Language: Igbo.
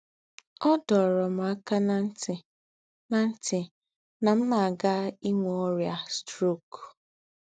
Ọ̀ dōrō m àkā ná ntī̀ nà ntī̀ nà m̀ nà-àgà ìnwē ọ́rị́ā strok